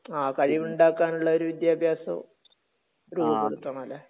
ങാ..കഴിവുണ്ടാക്കാൻ ഉള്ള ഒരു വിദ്യാഭ്യാസവും..രൂപപ്പെടുത്തണം അല്ലെ?